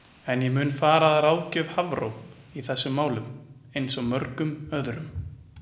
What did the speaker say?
En ég mun fara að ráðgjöf Hafró í þessum málum eins og mörgum öðrum.